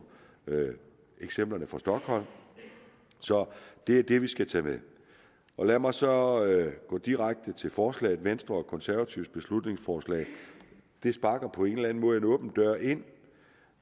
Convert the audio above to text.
eksemplerne fra stockholm så det er det vi skal tage med lad mig så gå direkte til forslaget venstre og konservatives beslutningsforslag sparker på en eller en måde en åben dør ind